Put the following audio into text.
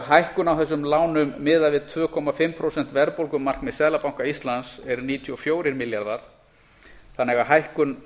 hækkun á þessum lánum miðað við tvö og hálft prósent verðbólgumarkmið seðlabanka íslands eru níutíu og fjórir milljarðar þannig að hækkun